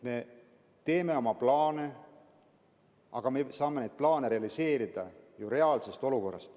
Me teeme oma plaane, aga me saame neid plaane realiseerida ju reaalses olukorras.